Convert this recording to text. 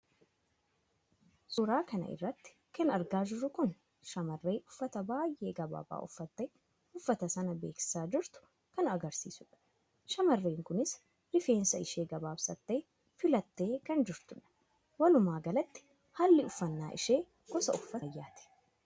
suuraa kana irratti kan argaa jirru kun shaamarree uffata baay'ee gabaabaa uffattee uffata sana beeksisaa jirtu kan agarsiisudha. shamarreen kunis rifeensa ishee gabaabsattee filattee kan jirtu dha. walumaa galatti haalli uffannaa ishee gosa uffata ammayyaati.